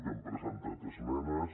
hem presentat esmenes